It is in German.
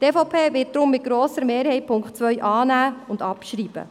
Die EVP wird deshalb den Punkt 2 mit grosser Mehrheit annehmen und abschreiben.